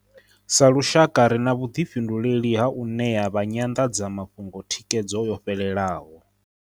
Sa lushaka ri na vhuḓi fhinduleli ha u ṋea vha nyanḓadzamafhungo thikhedzo yo fhelelaho.